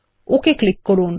okay click করুন